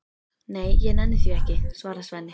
Nei, ég nenni því ekki, svarar Svenni.